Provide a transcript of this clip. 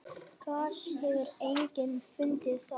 gas hefur einnig fundist þar